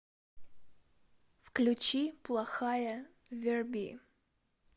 включи плохая верби